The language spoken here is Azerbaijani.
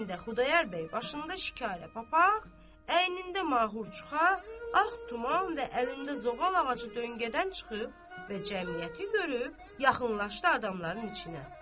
Bu heydə Xudayar bəy başında şikarlı papaq, əynində mahurçuqa, ağ tuman və əlində zoğal ağacı döngədən çıxıb və cəmiyyəti görüb, yaxınlaşdı adamların içinə.